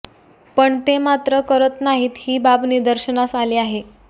पण ते मात्र करत नाहीत ही बाब निदर्शनास आली आहे